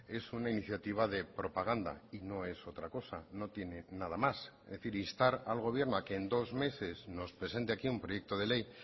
es una iniciativa de propaganda y no es otra cosa no tiene nada más es decir instar al gobierno a que en dos meses nos presente aquí un proyecto de ley